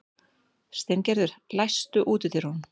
Steingerður, læstu útidyrunum.